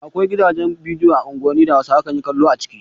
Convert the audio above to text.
Akwai gidajen bidiyo a unguwanni da Hausawa kan yi kallo a ciki.